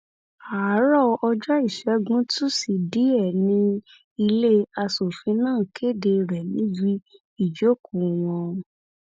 àárọ ọjọ ìṣẹgun tusidee ni ilé aṣòfin náà kéde rẹ níbi ìjókòó wọn